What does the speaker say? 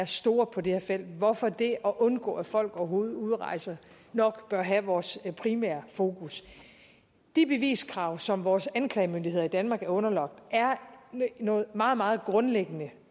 store på det her felt hvorfor det at undgå at folk overhovedet udrejser nok bør have vores primære fokus de beviskrav som vores anklagemyndigheder i danmark er underlagt er noget meget meget grundlæggende